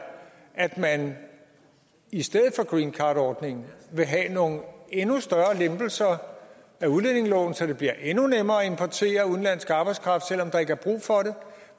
at man i stedet for greencardordningen vil have nogle endnu større lempelser af udlændingeloven så det bliver endnu nemmere at importere udenlandsk arbejdskraft selv om der ikke er brug for det